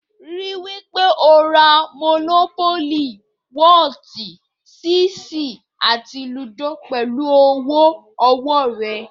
Rí i wí pé o ra mònópólì, wọ́ọ̀tì, ṣẹ́ẹ̀sì àti lúdò pẹ̀lú owó ọwọ́ rẹ